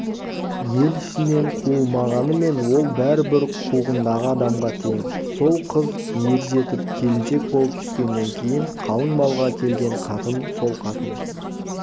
ел ішінен қуылмағанымен ол бәрібір қуғындағы адамға тең сол қыз ержетіп келіншек болып түскеннен кейін қалың малға келген қатын сол қатын